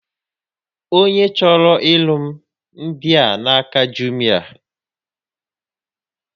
Onye chọrọ ịlụ ndị a n'aka Jumịa